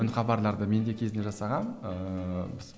үн хабарларды мен де кезінде жасағанмын ыыы